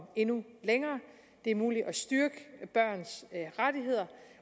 endnu længere det er muligt at styrke børns rettigheder